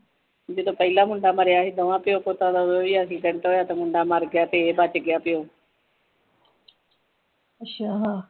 ਜਦੋ ਪਹਿਲਾ ਮੁੰਡਾ ਮਰਿਆ ਸੀ ਦੋਵਾਂ ਪਿਓ ਪੁੱਤਾਂ ਦਾ ਉਦੋਂ ਵੀ ਐਕਸੀਡੈਂਟ ਹੋਇਆ ਤਾ ਮੁੰਡਾ ਮਰ ਗਿਆ ਤੇ ਇਹ ਬੱਚ ਗਿਆ ਪਿਓ